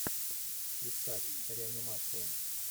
искать реанимация